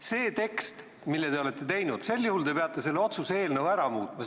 See tekst, mille te olete teinud – sel juhul te peate selle otsuse eelnõu ära muutma.